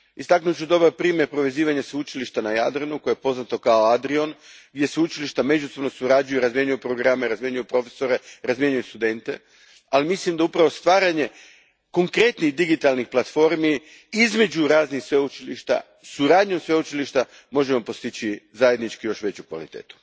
Istaknut ću dobar primjer povezivanja sveučilišta na Jadranu koje je poznato kao ADRION, gdje sveučilišta međusobno surađuju, razmjenjuju programe, profesore i studente, ali mislim da upravo stvaranjem konkretnih digitalnih platformi između raznih sveučilišta, suradnjom sveučilišta, možemo postići zajednički još veću kvalitetu.